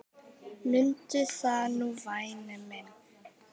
Mundu það nú væni minn.